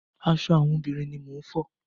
Aṣọ àwọn obìnrin ni mò ń fọ.